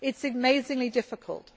it is amazingly difficult.